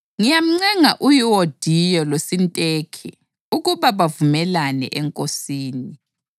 Ngiyamncenga uYuwodiya loSintikhe ukuba bavumelane eNkosini.